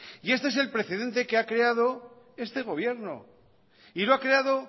y este es el precedente que ha creado este gobierno y lo ha creado